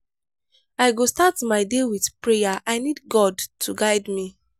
i go start my day with prayer i need god to guide me.